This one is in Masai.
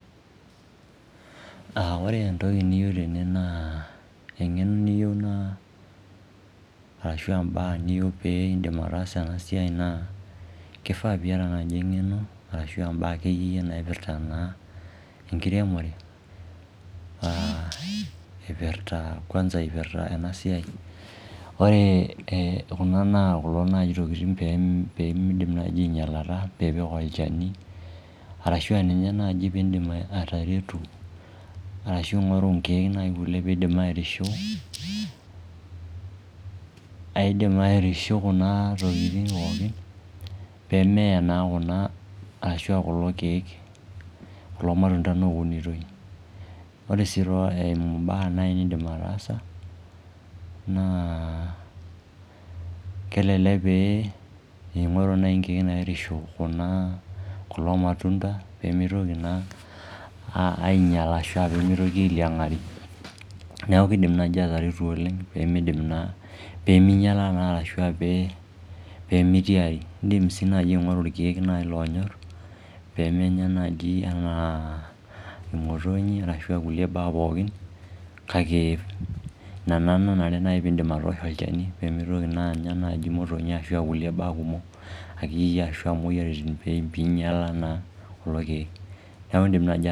Ore entoki niyieu tene naa eng'eno niyieu naa ashu imbaak niyieu piindim ataasa ena siai naa kifaa piata naai eng'eno ashu aa imbaak akeyie naipirta naa enkiremore, ipirta kwanza ipirta ena siai. Ore kuna enaa kulo naai tokiting peemidim naai ainyalata piipik olchani arashu ninye naai piindim ataretu arashu ng'oru nkiek kulie naai piindim naai airisho. Aaidim airisho kuna tokiting pee meeye naa kuna ashu kulo kiek, kulo matunda tene ounitoi. Ore sii eumu naai embae niindim ataasa naa kelelek pee ing'oru naai inkiek nairisho kuna, kulo matunda peemitoki naa ainyala ashu ailiang'ari. Neeku kiindim naai ataretu oleng peemidim naa, peeminyala ashu peemitiari. Iindim sii naai aing'oru irkiek naai loonyorr pemenya naaji enaa imotonyi arashu kulie baa pookin kake ina naa nanenare piindim atoosho olchani pemitoki naa anya imotonyi ashu kulie baak kumok akeyie ashu imwoyiaritin piinyala naa kulo kiek. Neeku indim naai